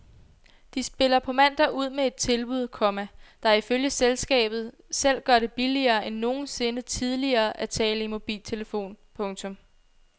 De spiller på mandag ud med et tilbud, komma der ifølge selskabet selv gør det billigere end nogensinde tidligere at tale i mobiltelefon. punktum